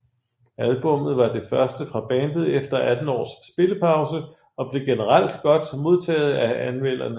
Albummet var det første fra bandet efter 18 års spillepause og blev generelt godt modtaget af anmelderne